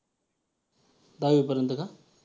दहावीपर्यंत का?